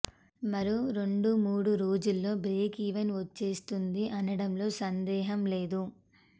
మరో రెండు మూడు రోజుల్లో బ్రేక్ ఈవెన్ వచ్చేస్తుంది అనడంలో సందేహం లేదు